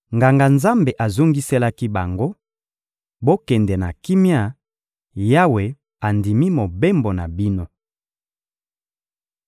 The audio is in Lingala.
Nganga-nzambe azongiselaki bango: — Bokende na kimia, Yawe andimi mobembo na bino.